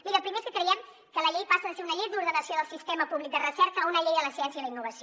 miri el primer és que creiem que la llei passa de ser una llei d’ordenació del sistema públic de recerca a una llei de la ciència i la innovació